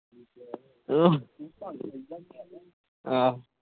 ਆਹ